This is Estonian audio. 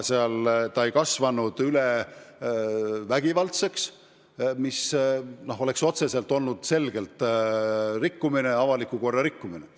See ei kasvanud üle vägivallaks, mis oleks olnud selgelt avaliku korra rikkumine.